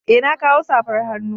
Eh na kawo safar hannu.